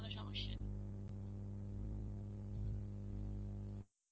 কোনো সমস্যা নেই.